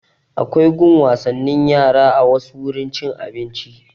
Akwai gun wasannin yara a wasu wurin cin abinci